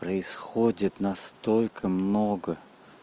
происходит настолько много